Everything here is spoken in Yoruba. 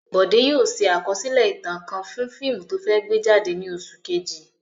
Bọ̀dé yóò ṣe àkọsílẹ̀ ìtàn kan fún fíìmù tó fẹ́ gbé jáde ní oṣù kejì.